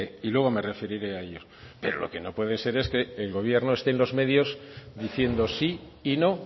y luego me referiré a ello pero lo que no puede ser es que el gobierno esté en los medios diciendo sí y no